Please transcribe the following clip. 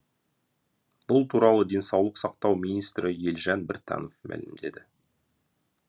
бұл туралы денсаулық сақтау министрі елжан біртанов мәлімдеді